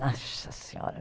Nossa Senhora!